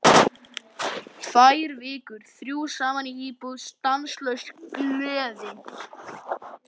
Tvær vikur, þrjú saman í íbúð, stanslaus gleði.